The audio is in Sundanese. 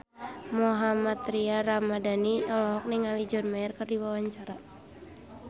Mohammad Tria Ramadhani olohok ningali John Mayer keur diwawancara